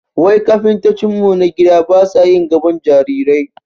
Wai kafintocin mu na gida basa yin gabon jarirai?